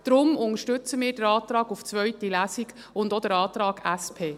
Darum unterstützen wir den Antrag auf eine zweite Lesung und auch den Antrag SP.